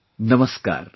Namaskar